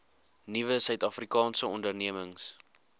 nuwe suidafrikaanse ondernemings